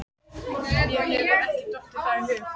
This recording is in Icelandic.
Mér hefur ekki dottið það í hug.